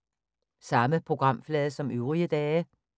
Samme programflade som øvrige dage